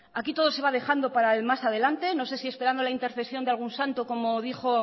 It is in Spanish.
aquí todo se va dejando para el más adelanta no sé si esperando la intersección de algún santo como dijo